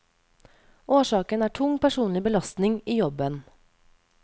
Årsaken er tung personlig belastning i jobben.